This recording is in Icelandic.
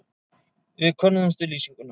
Við könnuðumst við lýsinguna.